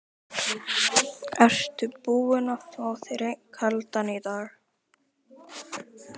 Ertu búinn að fá þér einn kaldan í dag?